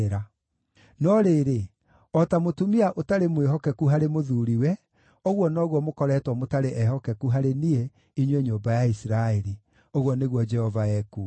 No rĩrĩ, o ta mũtumia ũtarĩ mwĩhokeku harĩ mũthuuriwe, ũguo noguo mũkoretwo mũtarĩ ehokeku harĩ niĩ, inyuĩ nyũmba ya Isiraeli,” ũguo nĩguo Jehova ekuuga.